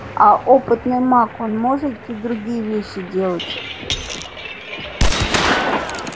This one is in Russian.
а опытный маг он может и другие вещи делать